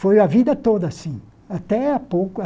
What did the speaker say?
Foi a vida toda assim. Até a pouco a